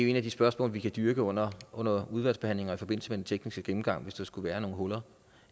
et af de spørgsmål vi kan dyrke under under udvalgsbehandlingen og i forbindelse med den tekniske gennemgang hvis der skulle være nogle huller